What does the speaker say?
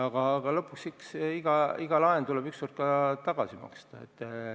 Aga lõpuks, eks iga laen tuleb ükskord ka tagasi maksta.